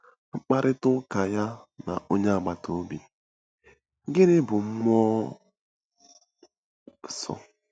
Mkparịta ụka Ya na Onye Agbata Obi—Gịnị Bụ Mmụọ Nsọ?